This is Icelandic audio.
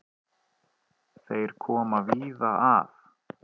Þeir koma víða að.